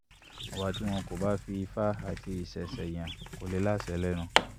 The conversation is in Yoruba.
ọba ti wọn ko ba fi ifa ati isẹṣe yan ko le laṣẹ lẹnu